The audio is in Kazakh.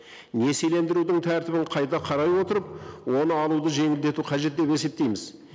несиелендірудің тәртібін қайта қарай отырып оны алуды жеңілдету қажет деп есептейміз